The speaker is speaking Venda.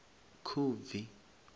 khubvi